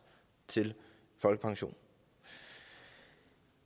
til folkepension